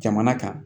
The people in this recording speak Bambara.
Jamana kan